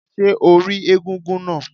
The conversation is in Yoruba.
Ṣé o rí egúngún náà?